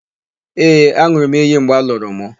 Ee, an̄ụrụ m iyi mgbe a lụrụ mụ.